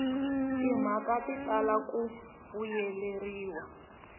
timhaka ti tala ku vuyeleriwa